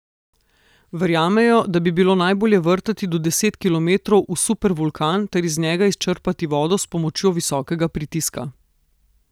Verjamejo, da bi bilo najbolje vrtati do deset kilometrov v supervulkan ter iz njega izčrpati vodo s pomočjo visokega pritiska.